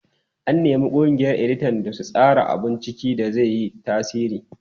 An nemi ƙungiyar editan da su tsara abun ciki da zai yi tasiri.